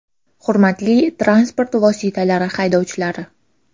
Hurmatli transport vositalari haydovchilari!